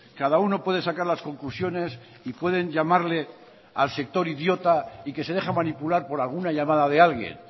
cada uno puede sacar las conclusiones y pueden llamarle al sector idiota y que se deja manipular por alguna llamada de alguien